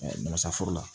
Masa foro la